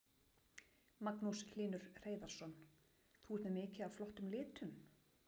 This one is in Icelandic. Magnús Hlynur Hreiðarsson: Þú ert með mikið af flottum litum?